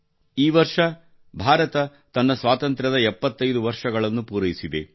ಈ ವರ್ಷ ಭಾರತ ತನ್ನ ಸ್ವಾತಂತ್ರ್ಯದ 75 ವರ್ಷಗಳನ್ನು ಪೂರೈಸಿದೆ